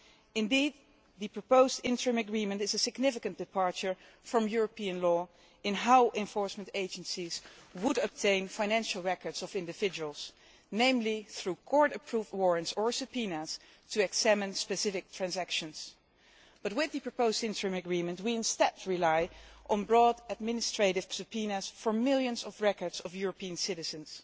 Indeed, the proposed interim agreement is a significant departure from European law in how enforcement agencies would obtain financial records of individuals, namely through court approved warrants or subpoenas to examine specific transactions, but with the proposed interim agreement, we instead rely on broad administrative subpoenas for millions of records of European citizens.